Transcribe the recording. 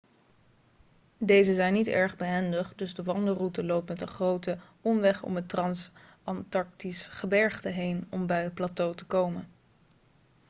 deze zijn niet erg behendig dus de wandelroute loopt met een grote omweg om het transantarctisch gebergte heen om bij het plateau te komen